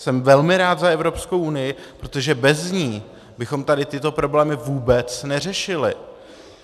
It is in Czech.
Jsem velmi rád za Evropskou unii, protože bez ní bychom tady tyto problémy vůbec neřešili.